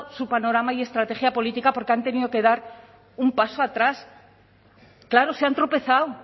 su panorama y estrategia política porque han tenido que dar un paso atrás claro se han tropezado